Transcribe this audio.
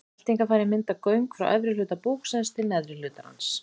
Meltingarfærin mynda göng frá efri hluta búksins til neðri hlutar hans.